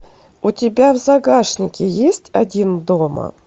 у тебя в загашнике есть один дома